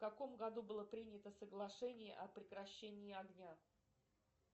в каком году было принято соглашение о прекращении огня